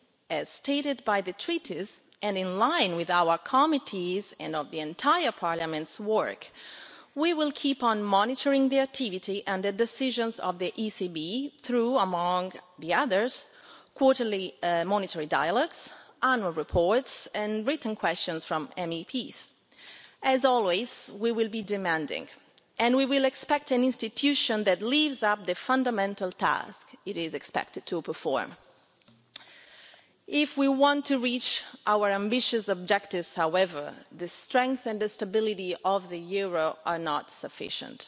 In accordance with the Treaties and in line with our committee's work and that of Parliament as a whole, we will keep on monitoring the activity and decisions of the ECB, inter alia through quarterly monetary dialogues, annual reports and written questions from MEPs. As always, we will be demanding. And we will expect an institution that lives up to the fundamental task it is expected to perform. If we want to reach our ambitious objectives, however, the strength and the stability of the euro is not sufficient.